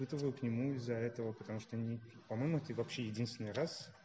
это вы к нему из-за этого потому что ни по-моему ты вообще единственный раз